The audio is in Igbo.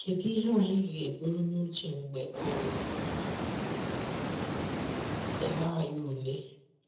Kedụ ihe anyị ga eburu n’uche mgbe um a na - ele anyị ụle?